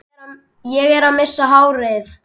Ég er að missa hárið.